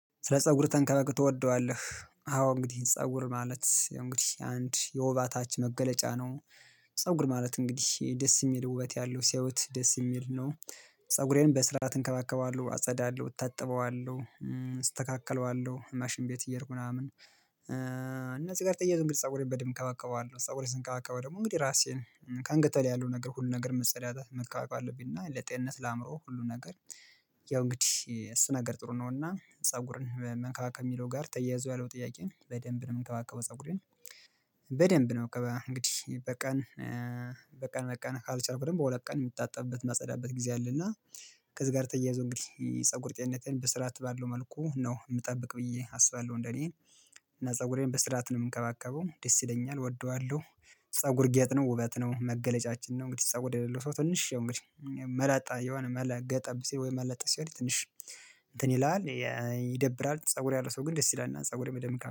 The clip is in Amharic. ስለ ፀጉር ተንከባክበህ ትወደዋለህ? አዎ እንግዲህ ፀጉር ማለት እንግዲህ አንድ የወበታችን መገለጫ ነው። ፀጉር ማለት እንግዲህ ደስ የሚል ውበት ያለው ሲያዩት ደስ የሚል ነው። ፀጉሬን በስራአት እንከባከባዋለሁ አጸዳለሁ እታጥበዋለሁ። እስተካከለዋለሁ ማሽን ቤት እየሄድኩ ምናምን። እና ጽጋር ተያይዞ እንግዲህ ፀጉሬን በደምብ እንከባከበዋለን ፀጉሬን ስንከባከበው ደግሞ እንግዲህ ራሴን ከአንገተ በላይ ያለው ነገር ሁሉ ነገር መጸዳት መንከባከብ አለብኝና ለጤንነት ለአእምሮው ሁሉ ነገር። ያው እንግዲህ እሱ ነገር ጥሩ ነውና ፀጉርን መንከባከብ የሚለው ጋር ተያይዞ ያለው ጥያቄን በደንብ ነው የምንከባከበው ፀጉሬን። በደንብ ነው በቃ እንግዲህ በቀን በቀን በቀን ካልቻልኩ ደግሞ በሁለት ቀን የምታጠብበት ማጸዳበት ጊዜ አለና። ከዚህ ጋር ተያይዞ እንግዲህ ፀጉር ጤንነቴን በስራት ባለው መልኩ ነው የምጠብቅ ብዬ አስባለሁ እንደኔ እና ፀጉሬን በስርዓት ነው የምከባከበው ደስ ይለኛል እወደዋለሁ። ፀጉር ጌጥ ነው ውበት ነው መገለጫችን ነው እንግዲህ ሰው የሌለው ሰው ትንሽ እንግዲህ መላጣ የሆነ መላ ገጠብ ሲል ወይም መለጥ ሲል ትንሽ እንትን ይላል። ይደብራል ፀጉር ያለ ሰው ግን ደስ ይላል ፀጉር የደምቃል